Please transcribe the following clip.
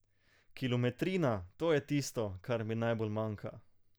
Kilometrina, to je tisto, kar mi najbolj manjka.